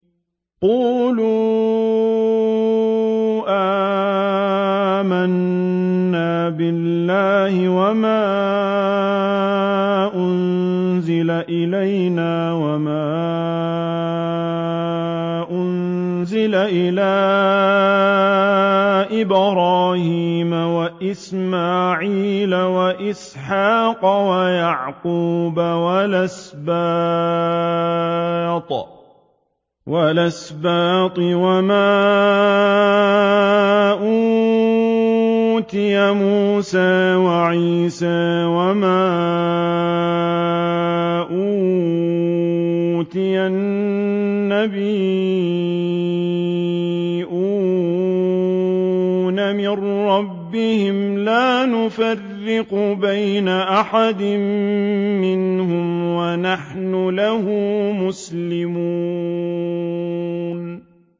قُولُوا آمَنَّا بِاللَّهِ وَمَا أُنزِلَ إِلَيْنَا وَمَا أُنزِلَ إِلَىٰ إِبْرَاهِيمَ وَإِسْمَاعِيلَ وَإِسْحَاقَ وَيَعْقُوبَ وَالْأَسْبَاطِ وَمَا أُوتِيَ مُوسَىٰ وَعِيسَىٰ وَمَا أُوتِيَ النَّبِيُّونَ مِن رَّبِّهِمْ لَا نُفَرِّقُ بَيْنَ أَحَدٍ مِّنْهُمْ وَنَحْنُ لَهُ مُسْلِمُونَ